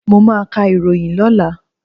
Mọ máa ka ìròyìn lọ́la.